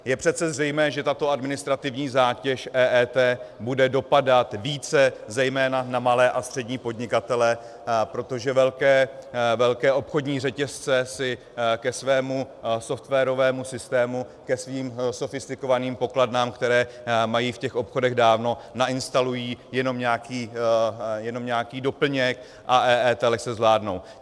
Je přece zřejmé, že tato administrativní zátěž EET bude dopadat více zejména na malé a střední podnikatele, protože velké obchodní řetězce si ke svému softwarovému systému, ke svým sofistikovaným pokladnám, které mají v těch obchodech dávno, nainstalují jenom nějaký doplněk a EET lehce zvládnou.